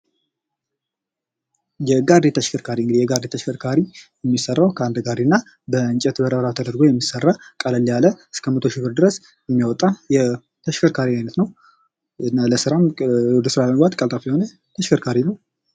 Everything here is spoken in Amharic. የጋሪ ተሽከርካሪ እንግዲህ የጋሪ ተሽከርካሪ ሚሰራው ከአንድ ጋሪ እና በእንጨት መረብራብ ተደርጎ የሚሰራ ቀለል ያለ እስከ መቶ እሺ ብር ድረስ የሚያወጣ የተሽከርካሪ አይነት ነው ። እና ወደ ስራ ለመግባት ቀልጣፋ የሆነ ተሽከርካሪ ነው ።